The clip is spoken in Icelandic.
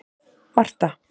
Marta